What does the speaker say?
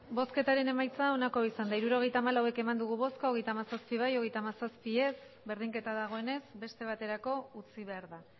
hirurogeita hamalau eman dugu bozka hogeita hamazazpi bai hogeita hamazazpi ez berdinketa dagoenez beste baterako utzi behar da